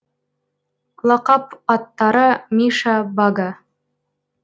лақап аттары миша бага